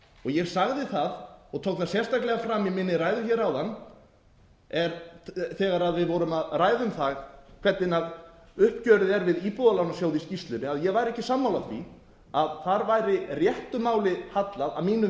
ég sagði það og tók það sérstaklega fram í minni ræðu hér áðan þegar við vorum að ræða um það hvernig uppgjörið er við íbúðalánasjóð í skýrslunni að ég væri ekki sammála því að þar væri réttu máli hallað að mínu